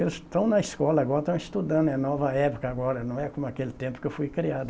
Eles estão na escola agora, estão estudando, é nova época agora, não é como aquele tempo que eu fui criado.